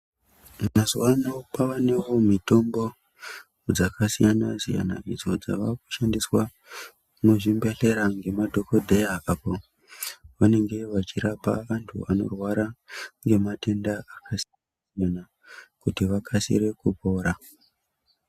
Mazuwaano kwawanewo mitombo dzakasiyana siyana idzo dzavakushandiswa muzvibhedhlera ngemadhokodheya apo vanenge vachirapa vantu vanorwara nematenda akasiyanasiyana kuti vakasire kupora.